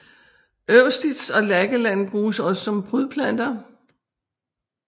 Eustis og Lakeland bruges også som prydplanter